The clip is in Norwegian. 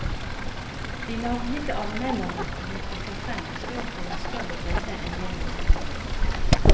De navngitte anmelderne hun trekker frem står for en større bredde enn det hun antyder.